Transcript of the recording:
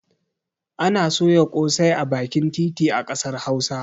Ana soya ƙosai a bakin titi a ƙasar hausa